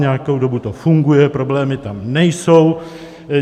Nějakou dobu to funguje, problémy tam nejsou.